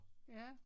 Ja